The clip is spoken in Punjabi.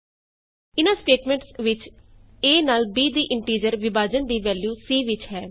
ਇਹਨਾਂ ਸਟੇਟਮੈਂਟਸ ਵਿਚ a ਨਾਲ b ਦੀ ਇੰਟੀਜ਼ਰ ਵਿਭਾਜਨ ਦੀ ਵੈਲਯੂ c ਵਿਚ ਹੈ